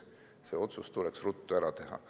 See otsus tuleks ruttu ära teha.